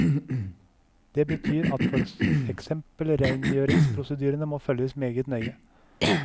Det betyr at for eksempel reingjøringsprosedyrene må følges meget nøye.